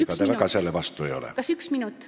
Ega te väga selle vastu ei ole?